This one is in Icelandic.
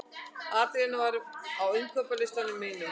Adrían, hvað er á innkaupalistanum mínum?